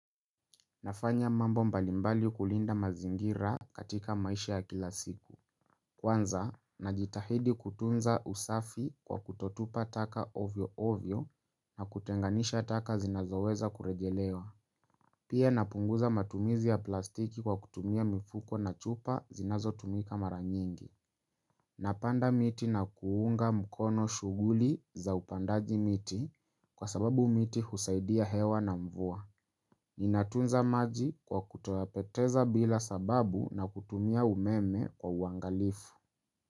Nafanya mambo mbalimbali kulinda mazingira katika maisha ya kila siku Kwanza, najitahidi kutunza usafi kwa kutotupa taka ovyo ovyo na kutenganisha taka zinazoweza kurejelewa Pia napunguza matumizi ya plastiki kwa kutumia mifuko na chupa zinazotumika mara nyingi napanda miti na kuunga mkono shughuli za upandaji miti kwa sababu miti husaidia hewa na mvua Ninatunza maji kwa kutoapeteza bila sababu na kutumia umeme kwa uangalifu.